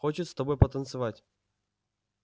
хочет с тобой потанцевать